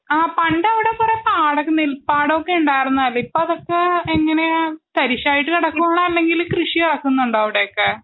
ആ പണ്ടവിടെ കുറേ പാടങ്ങ നെൽപ്പാടവൊക്കെ ഉണ്ടാർന്നതല്ലെ. ഇപ്പൊ അതൊക്കെ എങ്ങനെയാ തരിശായിട്ട് കിടക്കുവാണോ? അല്ലങ്കിൽ കൃഷി ഏറക്കുന്നോടോ അവിടെയൊക്കെ ?